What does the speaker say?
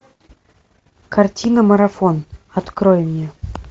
картина марафон открой мне